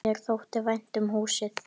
Mér þótti vænt um húsið.